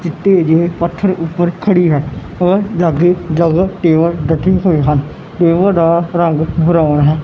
ਚਿੱਟੇ ਜੇਹੇ ਪੱਥਰ ਊਪਰ ਖੜੀ ਹੈ ਔਰ ਲੱਗੇ ਹੋਈ ਹਨ ਦਾ ਰੰਗ ਬਰਾਊਨ ਹੈ।